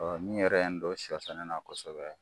min yɛrɛ ye n don sɔ sɛnɛ na kosɛbɛ